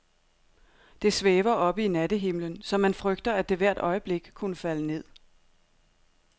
Det svæver oppe i nattehimlen, så man frygter, at det hvert øjeblik kunne falde ned.